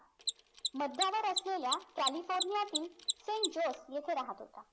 मध्यावर असलेल्या कॅलिफोर्नियातील सैन्त जोझ येथे राहत होता